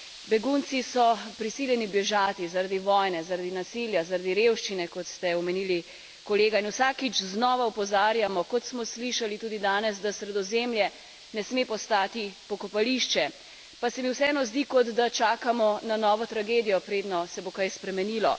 Begunci so prisiljeni bežati zaradi vojne, zaradi nasilja, zaradi revščine, kot ste omenili kolega, in vsakič znova opozarjamo, kot smo slišali tudi danes, da Sredozemlje ne sme postati pokopališče, pa se mi vseeno zdi, kot da čakamo na novo tragedijo, predno se bo kaj spremenilo.